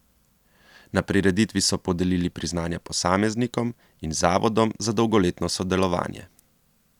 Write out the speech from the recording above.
Na prireditvi so podelili priznanja posameznikom in zavodom za dolgoletno sodelovanje.